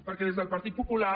perquè des del partit popular